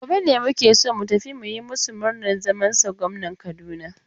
Gobe ne muke so mu tafi mu yi masu murnar zamansa gwamnan Kaduna.